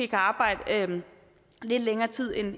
kan arbejde lidt længere tid end